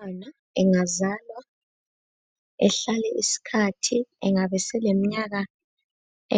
Umntwana engazalwa ehlale isikhathi engaba seleminyaka